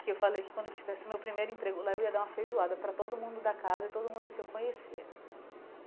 que eu falei que quando eu tivesse o meu primeiro emprego, lá eu ia dar uma feijoada para todo mundo da casa e todo mundo que eu conhecia.